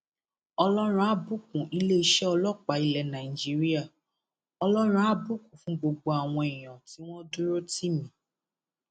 ọlọrun àá bùkún iléeṣẹ ọlọpàá ilẹ nàìjíríà ọlọrun àá bùkún fún gbogbo àwọn èèyàn tí wọn dúró tì mí